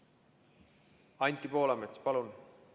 Anti Poolamets, palun!